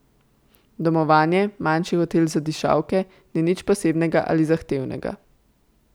Domovanje, manjši hotel za dišavke, ni nič posebnega ali zahtevnega.